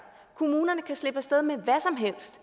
kommunerne kan slippe af sted med